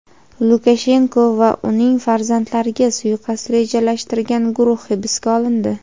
Lukashenko va uning farzandlariga suiqasd rejalashtirgan guruh hibsga olindi.